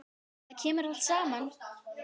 Þetta kemur allt saman.